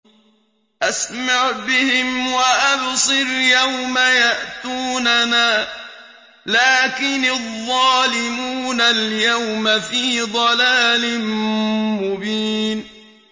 أَسْمِعْ بِهِمْ وَأَبْصِرْ يَوْمَ يَأْتُونَنَا ۖ لَٰكِنِ الظَّالِمُونَ الْيَوْمَ فِي ضَلَالٍ مُّبِينٍ